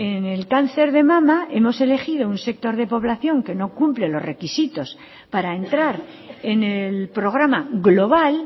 en el cáncer de mama hemos elegido un sector de población que no cumple los requisitos para entrar en el programa global